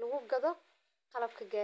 lagu gadho qalabka garidha.